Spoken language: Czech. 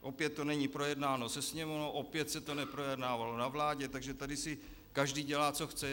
Opět to není projednáno se Sněmovnou, opět se to neprojednávalo na vládě, takže tady si každý dělá, co chce.